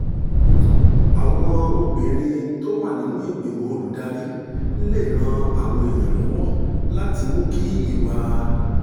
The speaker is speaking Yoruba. àwọn obìnrin tó wà nínú ìgbìmọ̀ olùdarí lè ran àwọn èèyàn lọ́wọ́ láti mú kí ìwà